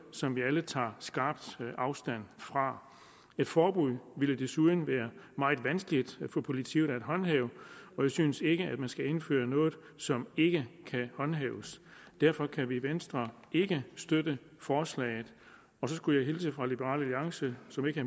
som vi alle tager skarpt afstand fra et forbud ville desuden være meget vanskeligt for politiet at håndhæve og vi synes ikke at man skal indføre noget som ikke kan håndhæves derfor kan vi i venstre ikke støtte forslaget så skulle jeg hilse fra liberal alliance som ikke